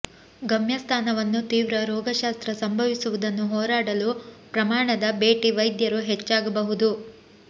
ಗಮ್ಯಸ್ಥಾನವನ್ನು ತೀವ್ರ ರೋಗಶಾಸ್ತ್ರ ಸಂಭವಿಸುವುದನ್ನು ಹೋರಾಡಲು ಪ್ರಮಾಣದ ಭೇಟಿ ವೈದ್ಯರು ಹೆಚ್ಚಾಗಬಹುದು